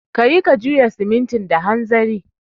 Ka yi ka juya simintin da hanzari